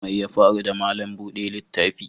Mai ya faru da malam bude littafi?